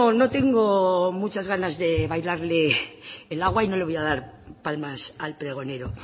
no tengo muchas ganas de bailarle el agua y no le voy a dar palmas al pregonero